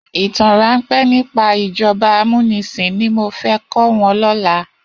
Itàn ránpè nipá ijòbá àmúnisin ni mó fè kò wòn lòlá